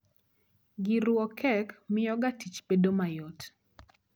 Gir ruwo kek mio ga tich bedo mayot